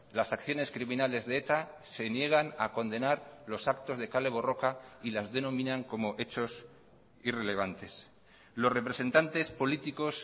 las acciones criminales de eta se niegan a condenar los actos de kale borroka y las denominan como hechos irrelevantes los representantes políticos